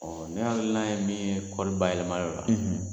Ɔɔ ne hakili na ye min ye kɔri ba yɛlɛmali la